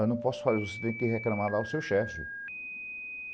Eu não posso fazer, você tem que reclamar lá no seu chefe.